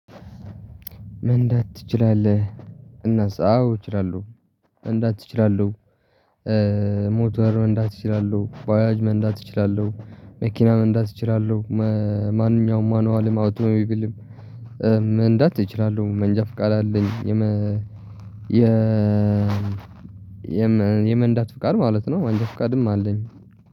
መንዳት ትችላለህ? እናስ አዎ እችላለሁ መንዳት እችላለሁ። ሞተር መንዳት እችላለሁ። በአያጅ መንዳት ይችላሉ? መኪና መንዳት ይችላሉ? ማንኛውም ማኑዋልም አውቶሞብልም መንዳት እችላለሁ መንጃፍቃድ አለኝ። የ የመንጃ ፍቃድ ማለት ነው። መንጃ ፍቃድም አለኝ።